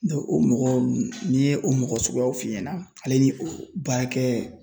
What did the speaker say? o mɔgɔ n'i ye o mɔgɔ suguyaw f'i ɲɛna ,ale ni o baarakɛ